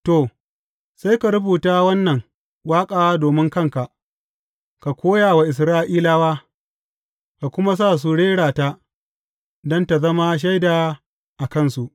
To, sai ka rubuta wannan waƙa domin kanka, ka koya wa Isra’ilawa, ka kuma sa su rera ta, don tă zama shaida a kansu.